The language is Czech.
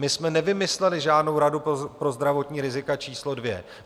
My jsme nevymysleli žádnou radu pro zdravotní rizika číslo dvě.